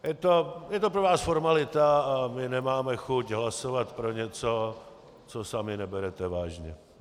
Je to pro vás formalita a my nemáme chuť hlasovat pro něco, co sami neberete vážně.